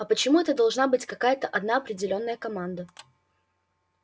а почему это должна быть какая-то одна определённая команда